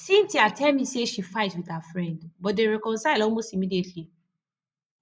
cynthia tell me say she fight with her friend but dey reconcile almost immediately